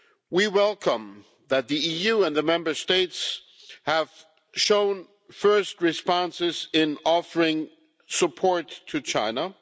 We welcome the fact that the EU and the Member States have shown first responses in offering support to China.